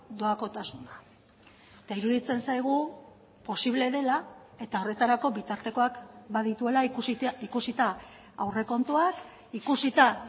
doakotasuna eta iruditzen zaigu posible dela eta horretarako bitartekoak badituela ikusita aurrekontuak ikusita